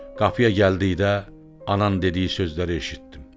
Qapıya gəldikdə anan dediyi sözləri eşitdim.